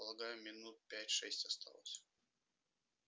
полагаю минут пять-шесть осталось